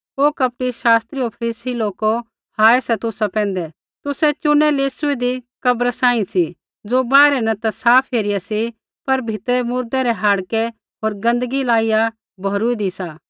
ओ कपटी शास्त्री होर फरीसी लोको हाय सा तुसा पैंधै तुसै चुनै लेसुईदी कब्रा सांही सी ज़ो बाहरै न ता साफ हेरिया सी पर भीतरै मुर्दै रै हाड़कै होर गन्दगियै लाइया भौरुइदी सी